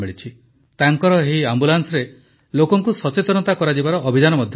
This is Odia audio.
ତାଙ୍କର ଏହି ଆମ୍ବୁଲାନ୍ସରେ ଲୋକଙ୍କୁ ସଚେତନତା ଅଭିଯାନ ମଧ୍ୟ ଚାଲୁଛି